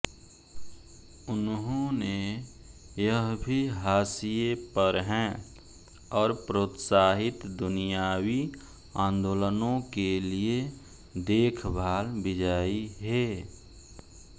उन्होंने यह भी हाशिए पर हैं और प्रोत्साहित दुनियावी आंदोलनों के लिए देखभाल विजायी हे